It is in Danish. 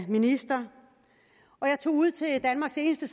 minister og jeg tog ud til danmarks eneste